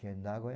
Nagoia.